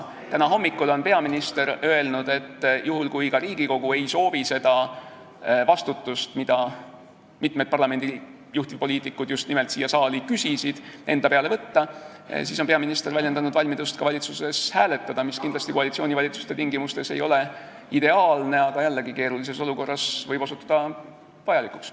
Täna hommikul ütles peaminister, et kui ka Riigikogu ei soovi endale võtta seda vastutust , siis on valmidus ka valitsuses hääletada, mis kindlasti koalitsioonivalitsuse tingimustes ei ole ideaalne, aga jällegi, keerulises olukorras võib osutuda vajalikuks.